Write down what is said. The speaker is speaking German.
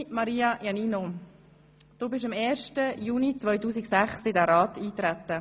Liebe Maria Iannino, du bist am 1. Juni 2006 in diesen Rat eingetreten.